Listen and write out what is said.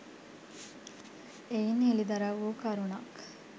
එයින් හෙළිදරව් වූ කරුණක්